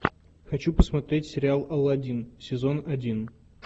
хочу посмотреть сериал аладдин сезон один